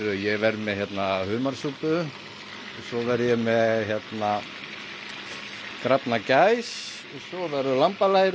ég verð með humarsúpu svo verð ég með grafna gæs lambalæri